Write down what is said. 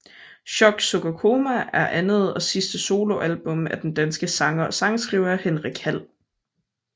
Chok suk og koma er andet og sidste soloalbum af den danske sanger og sangskriver Henrik Hall